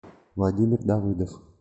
владимир давыдов